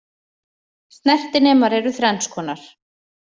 Snertinemar eru þrenns konar.